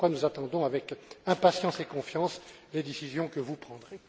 Voilà pourquoi nous attendons avec impatience et confiance les décisions que vous prendrez.